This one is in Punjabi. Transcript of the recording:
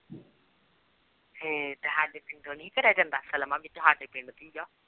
ਹੇ